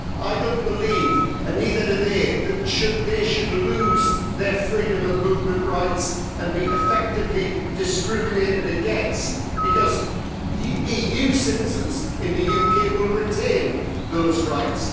I don't believe, and neither do they, that they should lose their freedom of movement rights and be effectively discriminated against, because EU citizens in the UK will retain those rights.